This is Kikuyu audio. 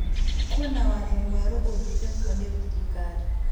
Kwĩna watho mwerũ ũrutĩtwo nĩ thirikari